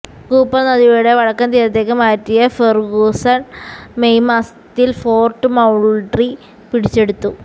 Cooper നദിയുടെ വടക്കൻ തീരത്തേക്ക് മാറ്റിയ ഫെർഗൂസൺ മെയ് മാസത്തിൽ ഫോർട്ട് മൌൾട്രി പിടിച്ചെടുത്തു